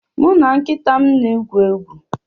Mụ na nkịta m na-egwu egwu